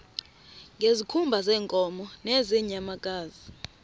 ngezikhumba zeenkomo nezeenyamakazi